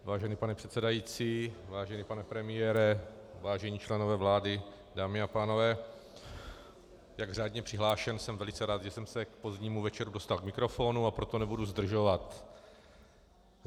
Vážený pane předsedající, vážený pane premiére, vážení členové vlády, dámy a pánové, jak řádně přihlášen, jsem velice rád, že jsem se k pozdnímu večeru dostal k mikrofonu, a proto nebudu zdržovat.